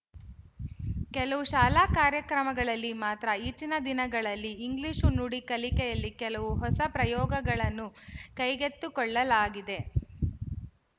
ಕೆಲವು ಶಾಲಾ ಕಾರ್ಯಕ್ರಮಗಳಲ್ಲಿ ಮಾತ್ರ ಈಚಿನ ದಿನಗಳಲ್ಲಿ ಇಂಗ್ಲಿಶು ನುಡಿ ಕಲಿಕೆಯಲ್ಲಿ ಕೆಲವು ಹೊಸ ಪ್ರಯೋಗಗಳನ್ನು ಕೈಗೆತ್ತುಕೊಳ್ಳಲಾಗಿದೆ